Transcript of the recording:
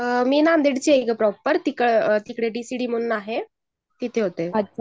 मी बीडची आहे प्रॉपर तिकडे डिसीडी म्हणून आहे. तिथे होते